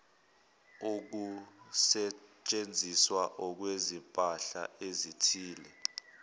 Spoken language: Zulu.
ukusetshenziswa kwezimpahla ezithile